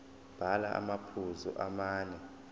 bhala amaphuzu amane